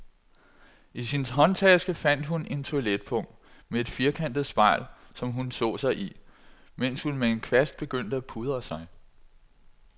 I sin håndtaske fandt hun et toiletpung med et firkantet spejl, som hun så sig i, mens hun med en kvast begyndte at pudre sig.